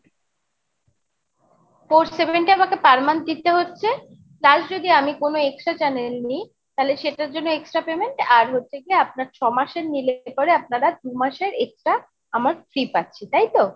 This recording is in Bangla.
four seventy আমাকে per month দিতে হচ্ছে, কাল যদি আমি কোন extra channel নেই, তাহলে সেটার জন্য extra payment আর হচ্ছে গিয়া আপনার ছমাসের নিলে পরে আপনারা দু'মাস extra আমার free পাচ্ছি তাইতো?